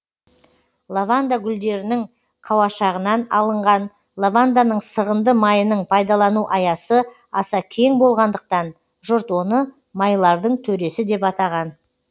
лаванда гүлдерінің қауашағынан алынған лаванданың сығынды майының пайдалану аясы аса кең болғандықтан жұрт оны майлардың төресі деп атаған